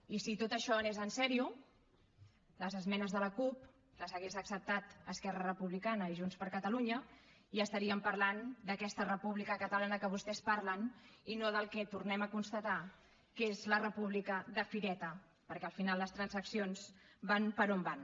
i si tot això anés en sèrio les esmenes de la cup les haguessin acceptat esquerra republicana i junts per catalunya i estaríem parlant d’aquesta república catalana que vostès parlen i no del que tornem a constatar que és la república de fireta perquè al final les transaccions van per on van